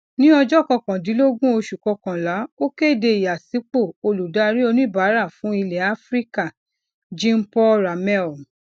ní ọjọ kọkàndínlógún oṣù kọkànlá ó kéde ìyànsípò olùdarí oníbàárà fún ilẹ áfíríkà jeanpaul ramé